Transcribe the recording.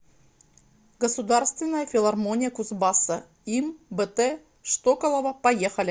государственная филармония кузбасса им бт штоколова поехали